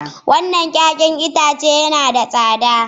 Wannan 'ya'yan itace yana da tsada